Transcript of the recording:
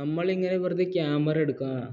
നമ്മളിങ്ങനെ വെറുതെ camera എടുക്കാം